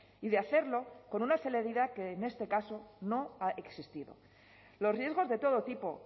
y de hacerlo con una celeridad que en este caso no ha existido los riesgos de todo tipo